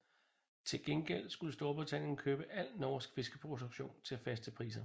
Til gengæld skulle Storbritannien købe al norsk fiskeproduktion til faste priser